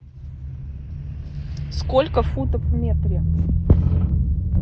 сколько футов в метре